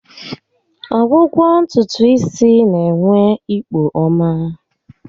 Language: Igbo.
Ọgwụgwọ ntutu isi n'enwe ikpo ọma